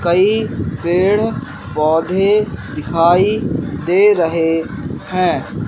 कई पेड़ पौधे दिखाई दे रहे हैं।